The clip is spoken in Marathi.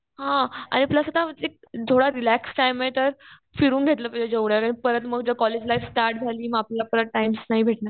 हा. आणि प्लस आता एक थोडा रिलॅक्स टाइम आहे तर फिरून घेतलं पाहिजे एवढा वेळ. परत मग कॉलेज लाईफ स्टार्ट झाली. आपल्याला परत टाइम नाही भेटणार.